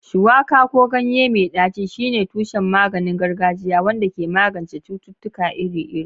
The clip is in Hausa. Shuwaka, ko ganye mai ɗaci, shine tushen maganin gargajiya wanda ke magance cututtuka iri-iri.